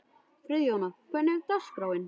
Friðjóna, hvernig er dagskráin?